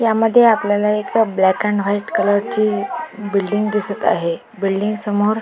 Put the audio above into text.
या मध्ये आपल्याला या मध्ये एका ब्लॅक आणि व्हाइट कलर ची बिल्डिंग दिसत आहे बिल्डिंग समोर --